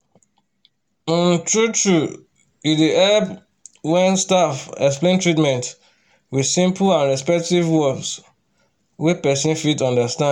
um true-true e dey help um when staff explain treatment with simple and respectful words um wey person fit understand.